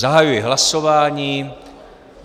Zahajuji hlasování.